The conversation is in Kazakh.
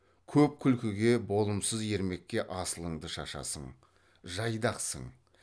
көп күлкіге болымсыз ермекке асылыңды шашасың жайдақсың